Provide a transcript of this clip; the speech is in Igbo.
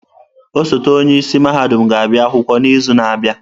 Osote onye isi mahadum ga-abịa akwụkwọ n'izu na-abịa.